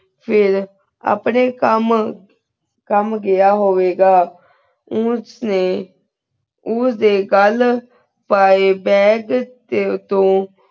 ਫਿਰ ਅਪਨੇ ਕਾਮ ਕਾਮ ਗਯਾ ਹੋਵੇ ਗਾ ਓਚ ਨੇ ਉਸ ਦੇ ਗਲ ਪਾਏ bag ਤੋ